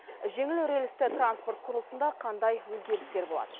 жеңіл рельсті транспорт құрылысында қандай өзгерістер болады